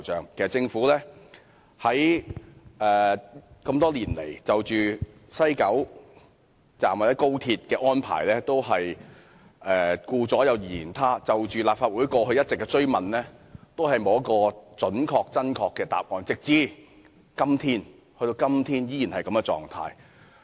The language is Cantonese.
其實政府這麼多年來就西九龍站或高鐵的安排都是顧左右而言他，就立法會過去一直的追問，都沒有給予準確、真確的答覆，直至今天政府依然保持這種態度。